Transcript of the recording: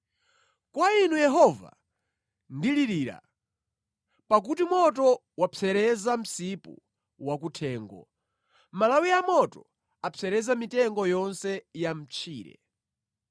Kwa Inu Yehova ndilirira, pakuti moto wapsereza msipu wakuthengo, malawi amoto apsereza mitengo yonse ya mʼtchire.